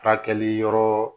Furakɛli yɔrɔ